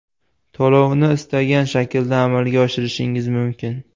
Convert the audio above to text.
To‘lovni istalgan shaklda amalga oshirishingiz mumkin.